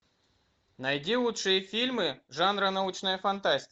найди лучшие фильмы жанра научная фантастика